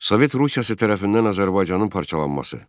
Sovet Rusiyası tərəfindən Azərbaycanın parçalanması.